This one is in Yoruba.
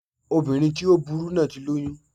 Obìnrin tí ó burú náà ti lóyún